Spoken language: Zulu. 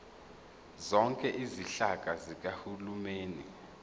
zonke izinhlaka zikahulumeni